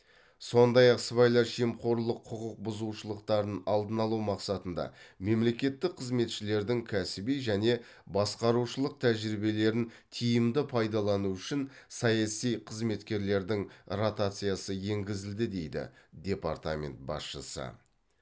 сондай ақ сыбайлас жемқорлық құқық бұзушылықтарын алдын алу мақсатында мемлекеттік қызметшілердің кәсіби және басқарушылық тәжірибелерін тиімді пайдалану үшін саяси қызметкерлердің ротациясы енгізілді дейді департамент басшысы